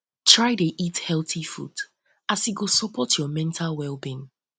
try dey eat healthy food um as um e go sopport um yur mental wellbeing